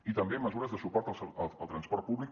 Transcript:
i també mesures de suport al transport públic